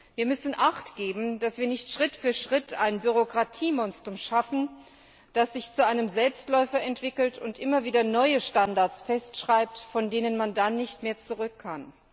Wir müssen achtgeben, dass wir nicht Schritt für Schritt ein Bürokratiemonstrum erschaffen, das sich zu einem Selbstläufer entwickelt und immer wieder neue Standards festschreibt, von denen man dann nicht mehr zurückkann.